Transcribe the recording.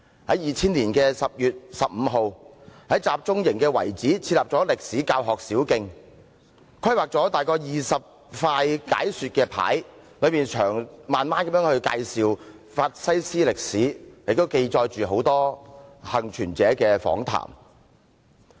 在2000年10月15日，在集中營遺址設立歷史教學小徑，規劃約20塊解說牌，詳細介紹法西斯歷史，也記載大量幸存者的訪談。